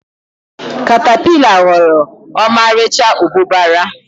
katapila ghọrọ ọmarịcha mbụbara.